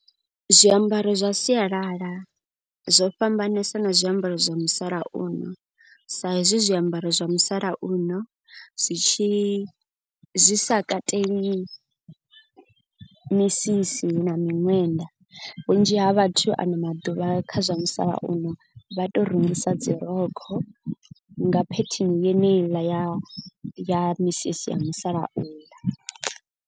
Zwiambaro zwa sialala zwo fhambanesa na zwiambaro zwa musalauno. Sa hezwi zwiambaro zwa musalauno zwi tshi zwi sa kateli misisi na miṅwenda. Vhunzhi ha vhathu ano maḓuvha kha zwa musalauno vha to rungisa dzi rokho. Nga phetheni yeneiḽa ya ya misisi ya musalauḽa.